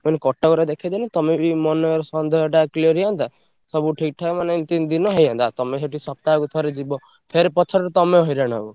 ମୁଁ କହିଲି କଟକରେ ଦେଖେଇଦେଲେ ତମେବି ମନର ସନ୍ଦେହଟା clear ହେଇଯାନ୍ତା। ସବୁ ଠିକ୍ ଠାକ୍ ମାନେ ତିନି ଦିନରେ ହେଇଯାଆନ୍ତା। ତମେ ସେଠି ସପ୍ତାହକୁ ଥରେ ଯିବ ଫେରେ ପଛରେ ତମେ ହଇରାଣ ହବ।